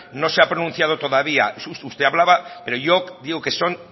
no se ha pronunciado todavía usted hablaba pero yo digo que son